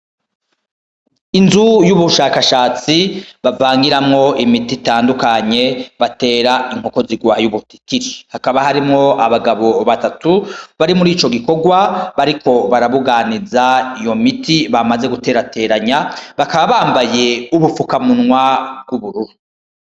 Inzu y'ubushakashatsi bavangiramwo imiti itandukanye batera inkoko zirwaye ubutitiri .Hakaba harimwo abagabo batatu bari murico gikorwa bariko barabuganiza iyo miti bamaze guterateranya bakaba bambaye ubufukamunwa bw’ubururu.